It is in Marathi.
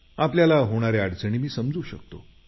आपल्याला होणाऱ्या अडचणी मी समजू शकतो